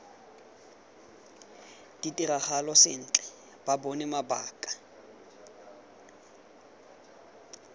ditiragalo sentle ba bone mabaka